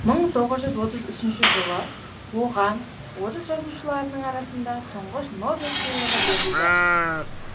мың тоғыз жүз алпыс үшінші жылы оған орыс жазушыларының арасында тұңғыш нобель сыйлығы берілді